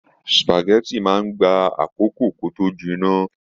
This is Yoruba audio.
Supágẹ̀tì máa n gbà àkókò kí o to jinná.